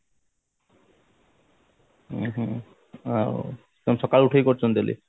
ଉଁ ହୁଁ ହୁଁ ସକାଳୁ ଉଠି କରୁଛନ୍ତି daily